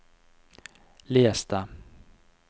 les det